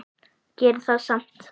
Gerir það samt.